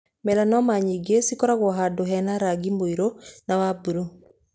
Melanoma nyingĩ cikoragwo na handũ hena rangi mũirũ na wa mburuu.